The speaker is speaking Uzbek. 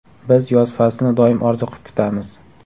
Biz yoz faslini doim orziqib kutamiz.